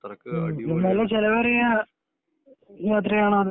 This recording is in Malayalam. നല്ല ചെലവേറിയ യാത്രയാനോ അത്